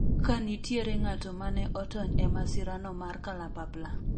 ka nitiere ng'ato mane otony e masirano mar kalapapla